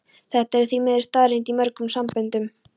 Þetta er því miður staðreynd í mörgum samböndum.